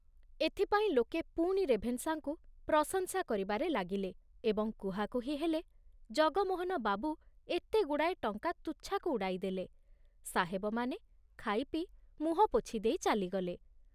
ଏଥିପାଇଁ ଲୋକେ ପୁଣି ରେଭେନ୍ସାଙ୍କୁ ପ୍ରଶଂସା କରିବାରେ ଲାଗିଲେ ଏବଂ କୁହାକୁହି ହେଲେ, ଜଗମୋହନ ବାବୁ ଏତେଗୁଡାଏ ଟଙ୍କା ତୁଚ୍ଛାକୁ ଉଡ଼ାଇଦେଲେ ସାହେବମାନେ ଖାଇପିଇ ମୁହଁ ପୋଛି ଦେଇ ଚାଲିଗଲେ।